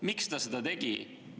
Miks ta seda tegi?